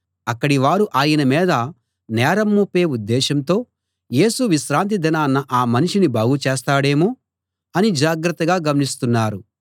అక్కడివారు ఆయన మీద నేరం మోపే ఉద్దేశంతో యేసు విశ్రాంతి దినాన ఆ మనిషిని బాగుచేస్తాడేమో అని జాగ్రత్తగా గమనిస్తున్నారు